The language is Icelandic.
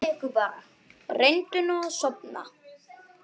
Reyndu nú að sofna.